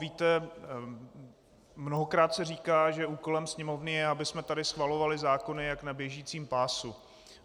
Víte, mnohokrát se říká, že úkolem Sněmovny je, abychom tady schvalovali zákony jako na běžícím pásu.